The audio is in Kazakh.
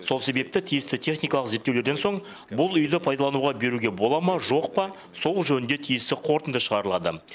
сол себепті тиісті техникалық зерттеулерден соң бұл үйді пайдалануға беруге бола ма жоқ па сол жөнінде тиісті қорытынды шығарылады